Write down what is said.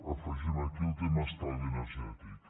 afegim aquí el tema de l’estalvi energètic